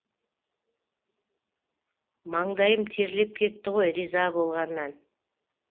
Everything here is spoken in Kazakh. маңдайым терлеп кетті ғой риза болғаннан